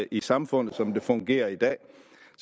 i samfundet som det fungerer i dag